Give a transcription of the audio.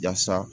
Yasa